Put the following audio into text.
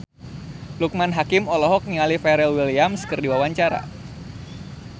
Loekman Hakim olohok ningali Pharrell Williams keur diwawancara